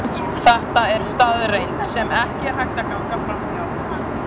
Þetta er staðreynd, sem ekki er hægt að ganga framhjá.